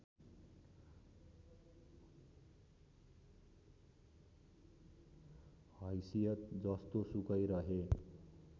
हैसियत जस्तोसुकै रहे